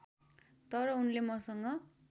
तर उनले मसँग